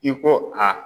I ko a